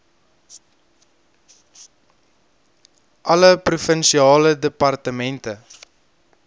alle provinsiale departemente